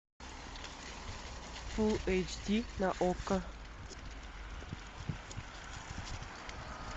фул эйч ди на окко